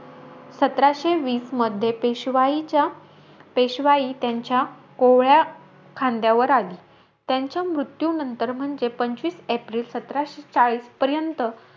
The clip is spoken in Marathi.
सतराशे वीसमध्ये, पेशवाईच्या पेशवाई त्यांच्या कोवळ्या खांद्यावर आली. त्यांच्या मृत्यूनंतर म्हणजे पंचवीस एप्रिल सतराशे चाळीस पर्यंत,